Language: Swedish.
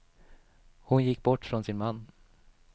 Hon gick bort från sin man.